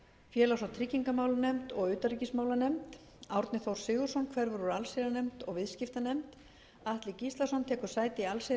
félags og tryggingamálanefnd og utanríkismálanefnd árni þór sigurðsson hverfur úr allsherjarnefnd og viðskiptanefnd atli gíslason tekur sæti í